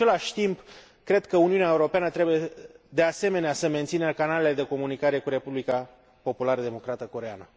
În același timp, cred că Uniunea Europeană trebuie, de asemenea, să mențină canalele de comunicare cu Republica Populară Democrată Coreeană.